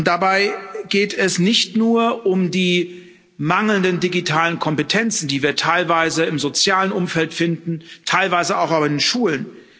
Dabei geht es nicht nur um die mangelnden digitalen Kompetenzen, die wir teilweise im sozialen Umfeld finden, teilweise aber auch in Schulen.